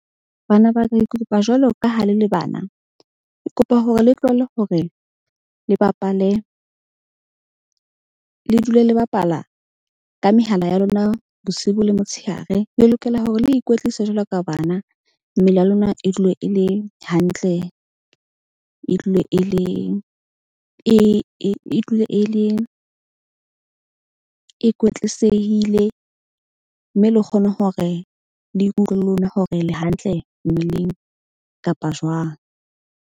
Bana ba ka kopa jwalo ka ha le le bana. Ke kopa hore le tlohelle hore le bapale le dule le bapala ka mehala ya lona bosibu le motshehare. Le lokela hore le ikwetlise jwalo ka bana. Mmele ya lona e dule e le hantle, e dule, e le e e dule e le, e kwetlisehile. Mme le kgone hore le ikutlwe le lona hore le hantle mmeleng kapa jwang.